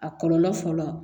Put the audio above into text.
A kɔlɔlɔ fɔlɔ